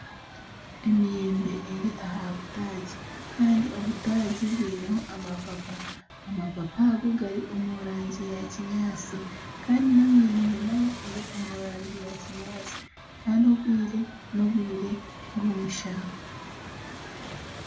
Emiyembe eri aha butagi kandi obutagi bwineho amapapa, amapapa ago gari omu rangi ya kinyaatsi kandi n'emiyembe nayo eri omu rangi ya kinyaatsi kandi obwire n'obwire bw'omushana.